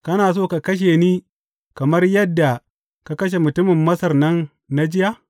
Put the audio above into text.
Kana so ka kashe ni kamar yadda ka kashe mutumin Masar nan na jiya?’